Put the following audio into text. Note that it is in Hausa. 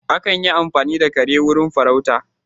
Akan yi amfani da kare wurin farauta